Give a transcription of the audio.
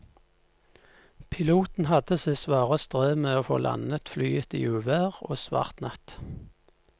Piloten hadde sitt svare strev med å få landet flyet i uvær og svart natt.